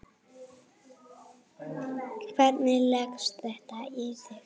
Hvernig leggst þetta í þig?